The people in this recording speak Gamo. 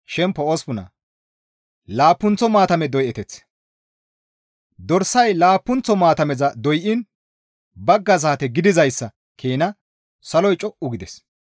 Dorsay laappunththo maatameza doyiin bagga saate gidizayssa keena saloy co7u gides.